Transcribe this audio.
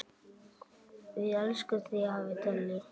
Við elskum þig, afi Dalli.